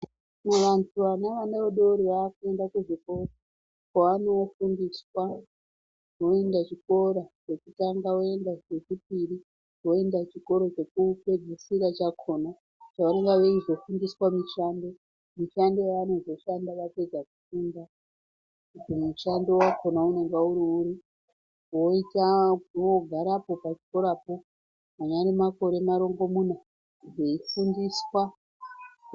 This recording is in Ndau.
Vantu vane vana vadodori vakuenda kuzvikora kwaanofundiswa voenda chikora chekutanga ,voenda chechipiri ,voenda chikora chekupedzisira chakona, chavanonga veizofundiswa mishando ,mishando yavanozoshanda vapedza kufunda kuti mushando wakona unonga uri uri, voita, vogarapo pachikora po anyari makore marongomuna veifundiswa,